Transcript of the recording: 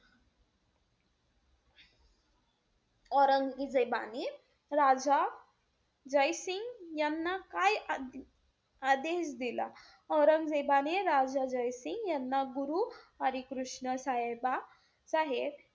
औरंगजेबाने राजा जय सिंग याना आ~ आदेश दिला? औरंगजेबाने, राजा जय सिंग यांना गुरु हरी कृष्ण साहेबा~ साहेब,